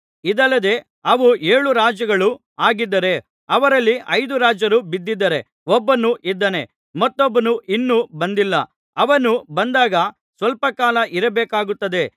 ಇದಲ್ಲದೆ ಅವು ಏಳು ರಾಜರುಗಳೂ ಆಗಿದ್ದಾರೆ ಅವರಲ್ಲಿ ಐದು ರಾಜರು ಬಿದ್ದಿದ್ದಾರೆ ಒಬ್ಬನು ಇದ್ದಾನೆ ಮತ್ತೊಬ್ಬನು ಇನ್ನು ಬಂದಿಲ್ಲ ಅವನು ಬಂದಾಗ ಸ್ವಲ್ಪ ಕಾಲ ಇರಬೇಕಾಗುತ್ತದೆ